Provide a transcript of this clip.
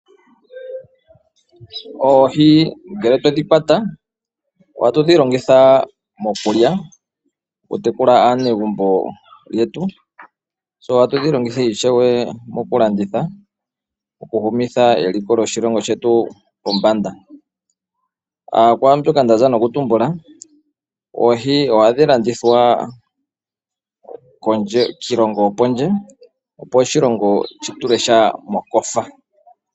Oohi ngele twedhi kwata ohatudhi longitha mokulya, okutekula aanegumbo yetu ,se ohatu dhi longitha ishewe mokulanditha okuhumitha eliko lyoshilongo shetu pombanda . Oohi ohadhi landithwa kiilongo yopondje opo oshilongo shi tule sha mokofa.